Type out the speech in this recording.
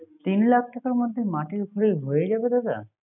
তিন লাখ টাকার মাধ্য মাটির খরচ হয়ে যাবা দাদা